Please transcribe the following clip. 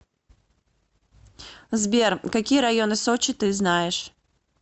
сбер какие районы сочи ты знаешь